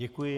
Děkuji.